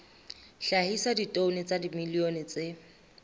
hlahisa ditone tsa dimilione tse